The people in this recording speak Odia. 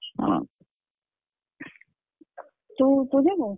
ହଁ ତୁ ତୁ ଯିବୁ?